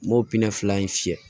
N m'o fila in fiyɛ